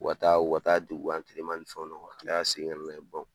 K'u ka taa u ka taa dege u ka ni fɛnw na, u ka kila ka segin ka n'a ye